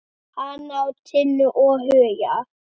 Hann á Tinnu og Huga.